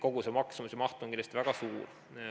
Kogu see maksumus on kindlasti väga suur.